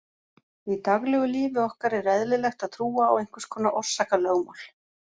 Í daglegu lífi okkar er eðlilegt að trúa á einhvers konar orsakalögmál.